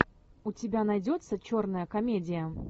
у тебя найдется черная комедия